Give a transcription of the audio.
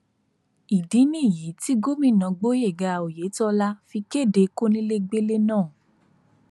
ìdí nìyí tí gómìnà gboyega oyetola fi kéde kónílégbélé náà